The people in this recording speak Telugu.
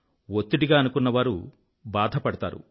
ఒత్తిడిగా అనుకున్నవారు బాధపడతారు